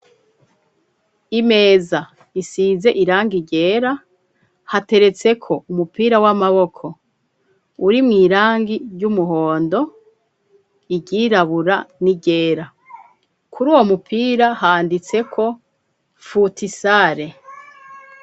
Imeza isize irangi ryera hateretseko umupira w'amaboko urimwo irangi ry'umuhondo ,iryirabura ni ryera kuri uwo mupira handitseko futisare.